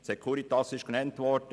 Die Securitas ist genannt worden.